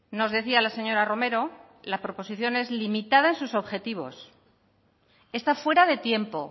nos decía la señora romero la proposición es limitada en sus objetivos está fuera de tiempo